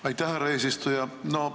Aitäh, härra eesistuja!